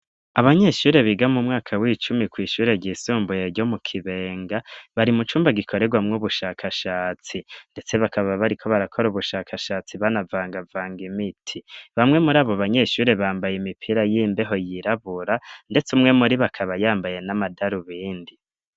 Abanyeshure biga mumwaka w'icumi kw'ishure ry'isumbuye ryo mu Kibenga, bari mu cumba gikorerwa mw'ubushakashatsi, ndetse bakaba bari ko barakora ubushakashatsi banavanga vanga imiti, bamwe muri abo banyeshure bambaye imipira y'imbeho yirabura, ndetse umwe muri bakaba yambaye n'amadarubindi.